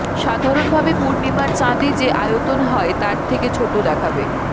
সাধারণ ভাবে পূর্ণিমার চাঁদে যে আয়তন হয় তার থেকে ছোট দেখাবে